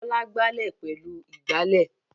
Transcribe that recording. Bọ́lá gbálẹ̀ pẹ̀lú ìgbálẹ̀.